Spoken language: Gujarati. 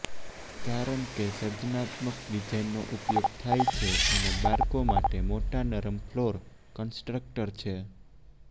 કારણ કે સર્જનાત્મક ડિઝાઇનનો ઉપયોગ થાય છે અને બાળકો માટે મોટા નરમ ફ્લોર કંસ્ટ્રક્ટર છે